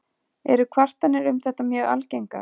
Eru kvartanir um þetta mjög algengar.